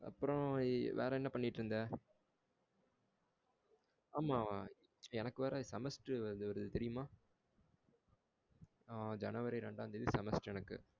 அப்புறம் வேற என்ன பண்ணிக்கிட்டு இருந்தா? ஆமா எனக்கு வேற semester வேற வருது. தெரியுமா? ஆ january ரெண்டாம் தேதி semester எனக்கு.